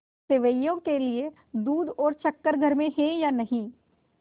सेवैयों के लिए दूध और शक्कर घर में है या नहीं